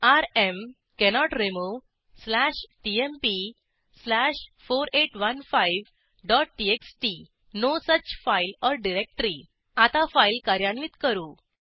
rm cannot remove slash TMP slash 4815 dot txt no such file or directory आता file कार्यान्वित करू